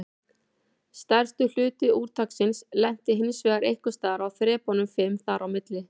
Stærstur hluti úrtaksins lenti hinsvegar einhvers staðar á þrepunum fimm þar á milli.